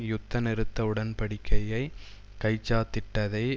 யுத்த நிறுத்த உடன்படிக்கையை கைச்சாத்திட்டதை